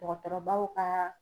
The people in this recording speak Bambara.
Dɔgɔtɔrɔbaw ka